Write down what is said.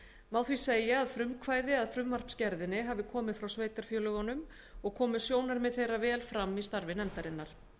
má því segja að frumkvæði að frumvarpsgerðinni hafi komið frá sveitarfélögunum og komu sjónarmið þeirra vel fram í starfi nefndarinnar